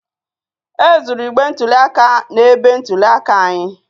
E zuru igbe ntụli aka na-ebe ntụli aka anyị